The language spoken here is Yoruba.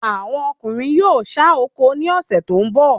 Awọn ọkunrin yóò sán oko ni ọ̀sẹ̀ tó ń bọ̀